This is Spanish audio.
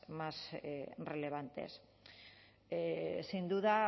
más relevantes sin duda